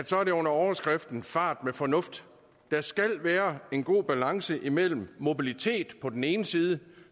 så er under overskriften fart med fornuft der skal være en god balance imellem mobilitet på den ene side